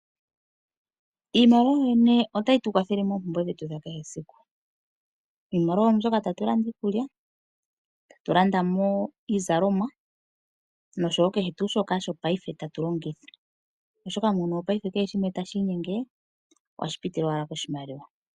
Iimaliwa yoyene otayi tu kwathele moompumbwe dhetu dha kehe siku. Iimaliwa oyo mbyoka tatu landa iikulya, ta tu landa mo iizalomwa, nosho wo kehe tuu shoka shopaife tatu longitha, oshoka muuyuni wopaife kehe shimwe tashi inyenge, ohashi pitile wala moshimaliwa.